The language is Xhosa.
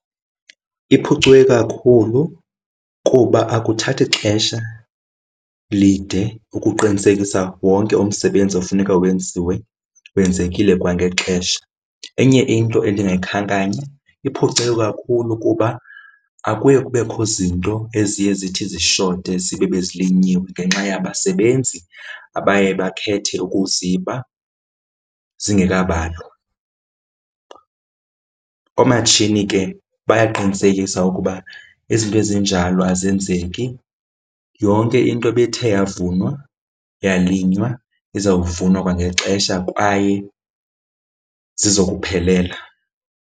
Iphucuke kakhulu kuba akuthathi xesha lide ukuqinisekisa wonke umsebenzi ofuneka wenziwe wenzekile kwangexesha. Enye into endingayikhankanya iphucuke kakhulu kuba akuye kubekho zinto eziye zithi zishote, zibe bezilinyiwe ngenxa yabasebenzi abaye bakhethe ukuziba zingekabalwa. Oomatshini ke bayaqinisekisa ukuba izinto ezinjalo azenzeki. Yonke into ebithe yavunwa, yalinywa izawuvunwa kwangexesha kwaye zizawuphelela.